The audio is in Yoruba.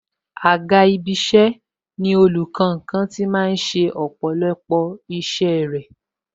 Àga isẹ ni ibiti olùkankan tí máa ń ṣe ọ̀pọ̀lọpọ̀ isẹ rẹ